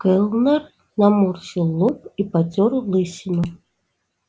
кэллнер наморщил лоб и потёр лысину